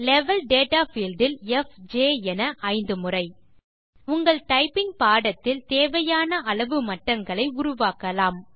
level data field இல் F J என ஐந்து முறை உங்கள் டைப்பிங் பாடத்தில் தேவையான அளவு மட்டங்களை உருவாக்கலாம்